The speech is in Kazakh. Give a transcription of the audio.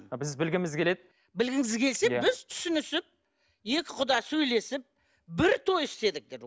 біз білгіміз келеді білгіңіз келсе біз түсінісіп екі құда сөйлесіп бір той істедік